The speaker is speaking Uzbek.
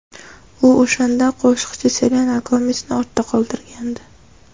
U o‘shanda qo‘shiqchi Selena Gomesni ortda qoldirgandi.